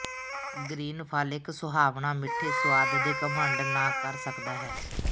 green ਫਲ ਇੱਕ ਸੁਹਾਵਣਾ ਮਿੱਠੇ ਸੁਆਦ ਦੇ ਘਮੰਡ ਨਾ ਕਰ ਸਕਦਾ ਹੈ